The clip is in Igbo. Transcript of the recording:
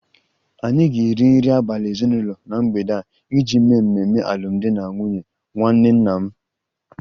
Anyị ga-eri nri abalị ezinụlọ na mgbede a iji mee mmemme alụmdi na nwunye nwanne nna m